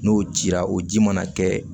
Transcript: N'o jira o ji mana kɛ